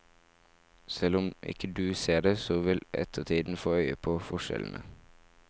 Selv om ikke du ser det, så vil ettertiden få øye på forskjellene.